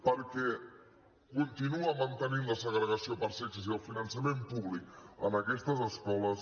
perquè continua mantenint la segregació per sexes i el finançament públic en aquestes escoles